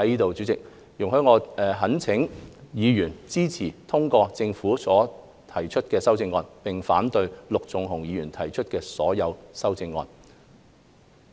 主席，容許我懇請議員支持通過政府提出的修正案，並反對陸頌雄議員提出的所有建議修正案。